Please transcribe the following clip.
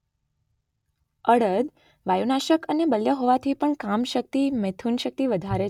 અડદ વાયુનાશક અને બલ્ય હોવાથી પણ કામશક્તિ-મૈથુનશક્તિ વધારે.